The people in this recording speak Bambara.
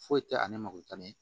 Foyi tɛ ani makotanni